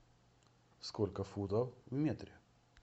сколько футов в метре